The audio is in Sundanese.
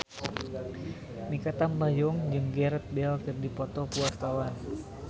Mikha Tambayong jeung Gareth Bale keur dipoto ku wartawan